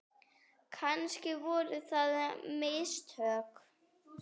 Kannski voru það mistök.